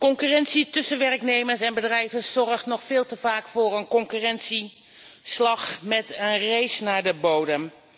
Concurrentie tussen werknemers en bedrijven zorgt nog veel te vaak voor een concurrentieslag met een race naar de bodem.